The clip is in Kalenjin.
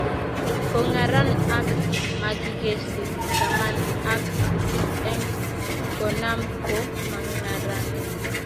Kongaran ak makikeshi taman ak sisit eng konam ko mangaranee.